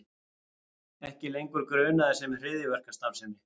Ekki lengur grunaðir um hryðjuverkastarfsemi